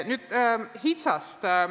Nüüd HITSA-st.